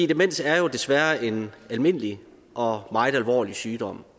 demens er jo desværre en almindelig og meget alvorlig sygdom